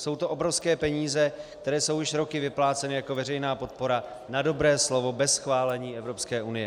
Jsou to obrovské peníze, které jsou již roky vypláceny jako veřejná podpora na dobré slovo bez schválení Evropské unie.